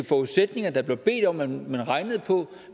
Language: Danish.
forudsætninger der blev bedt om at man regnede på